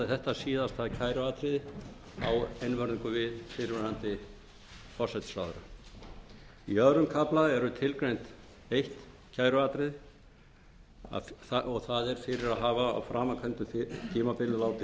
þetta síðasta kæruatriði á einvörðungu við fyrrverandi forsætisráðherra í tvo kafla er tilgreint eitt kæruatriði og það er fyrir að hafa á framangreindu tímabili látið